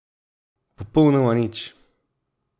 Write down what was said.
Popolnoma nič.